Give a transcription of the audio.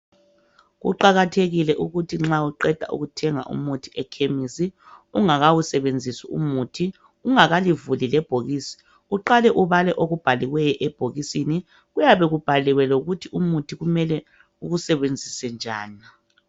Kuqakathekile ukuthi nxa uqeda kuthenga umuthi ekhemisi ungakawusebenzisi umuthi, ungakalivuli lebhokisi uqale ubale okubhaliweyo ebhokisini kuyabe kubhaliwe lokuthi umuthi kumele uwusebenzise njani.